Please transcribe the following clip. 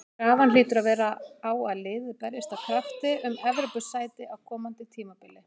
Krafan hlýtur að vera á að liðið berjist af krafti um Evrópusæti á komandi tímabili.